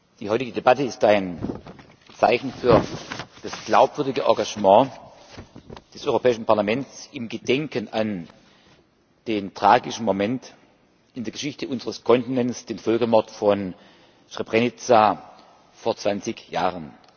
Die heutige Debatte ist ein Zeichen für das glaubwürdige Engagement des Europäischen Parlaments im Gedenken an den tragischen Moment in der Geschichte unseres Kontinents, den Völkermord von Srebrenica vor zwanzig Jahren.